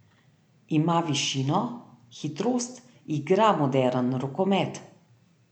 Ima višino, hitrost, igra moderen rokomet.